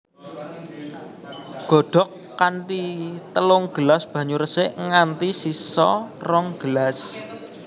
Godhog kanthi telung gelas banyu resik nganti sisa rong gelas